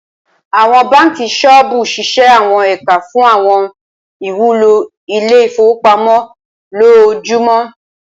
Awọn banki soobu ṣiṣẹ awọn ẹka fun awọn iwulo ile-ifowopamọ lojoojumọ.